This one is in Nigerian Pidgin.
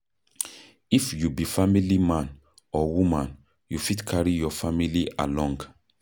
If you be family man or woman, you fit carry your family along